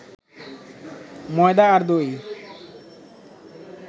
ময়দা আর দই